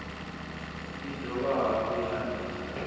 i dovha hafhu ya ita